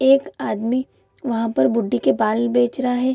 एक आदमी वहां पर बुड्ढी के बाल बेच रहा है।